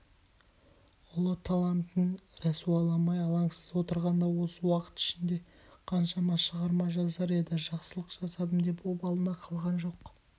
ұлы талантын рәсуаламай алаңсыз отырғанда осы уақыт ішінде қаншама шығарма жазар еді жақсылық жасадым деп обалына қалған жоқ